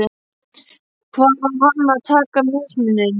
Hvar á hann að taka mismuninn?